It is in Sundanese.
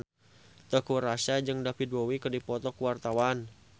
Teuku Rassya jeung David Bowie keur dipoto ku wartawan